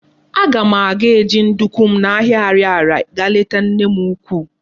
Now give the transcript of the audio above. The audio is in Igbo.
Aga m aga eji nduku m na ahia Ariaria ga leta nne m ukwu